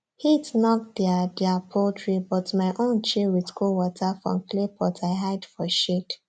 heat knock their their poultry but my own chill with cool water from clay pot i hide for shade